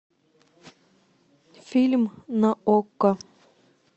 фильм на окко